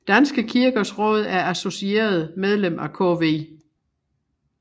Danske Kirkers Råd er associeret medlem af KV